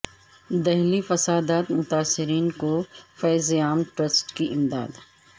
دہلی فسادات متاثرین کو فیض عام ٹرسٹ کی امداد